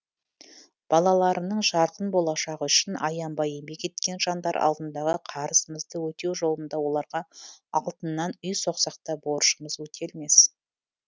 балаларының жарқын болашағы үшін аянбай еңбек еткен жандар алдындағы қарызымызды өтеу жолында оларға алтыннан үй соқсақ та борышымыз өтелмес